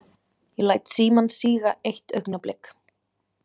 Ég læt símann síga eitt augnablik.